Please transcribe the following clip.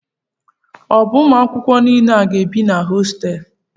O bu Ụmụ akwụkwọ niile a ga-ebi na hostéélu?